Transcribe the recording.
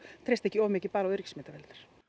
treysta ekki of mikið bara á öryggismyndavélar